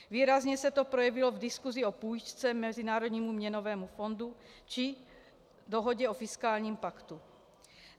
Výrazně se to projevilo v diskusi o půjčce Mezinárodnímu měnovému fondu či dohodě o fiskálním paktu.